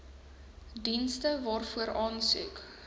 dienste waarvoor aansoek